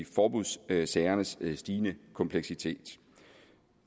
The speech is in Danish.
forbudssagernes stigende kompleksitet